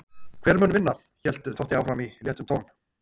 Hver mun vinna? hélt Totti áfram í léttum tón.